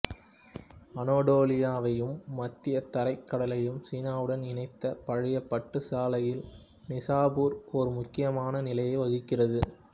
அனடோலியாவையும் மத்தியதரைக் கடலையும் சீனாவுடன் இணைத்த பழைய பட்டுச் சாலையில் நிசாபூர் ஒரு முக்கியமான நிலையை வகிக்கிறது